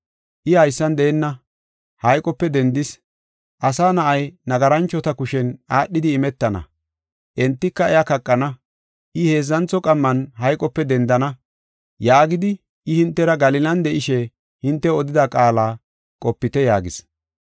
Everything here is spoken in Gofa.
I haysan deenna; hayqope dendis, ‘Asa Na7ay nagaranchota kushen aadhidi imetana; entika iya kaqana. I heedzantho qamman hayqope dendana’ yaagidi, I hintera Galilan de7ishe hintew odida qaala qopite” yaagis.